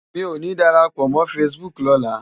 Mi ó ni dàrápò mò fãsibúk lòlá